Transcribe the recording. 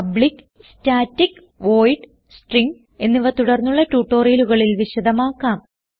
public static void string arg എന്നിവ തുടർന്നുള്ള ട്യൂട്ടോറിയലുകകളിൽ വിശദമാക്കാം